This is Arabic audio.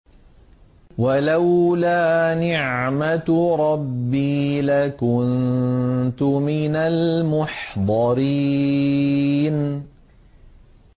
وَلَوْلَا نِعْمَةُ رَبِّي لَكُنتُ مِنَ الْمُحْضَرِينَ